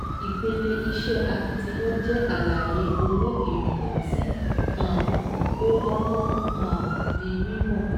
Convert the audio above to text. Ìpele iṣẹ́ akitiyan jẹ́ àlàyé owó ìrìnà tí um ó kọ́kọ́ um di mímọ̀.